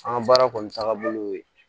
An ka baara kɔni tagabolo y'o ye